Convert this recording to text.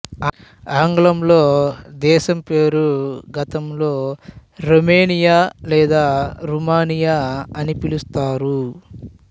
ఆంగ్లంలో దేశం పేరు గతంలో రోమేనియా లేదా రూమానియా అని పిలుస్తారు